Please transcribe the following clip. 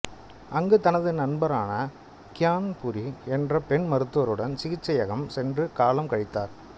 அங்கு தனது நண்பரான கியான்புரி என்ற பெண் மருத்துவருடன் சிகிச்சையகம் சென்று காலம் கழித்தார்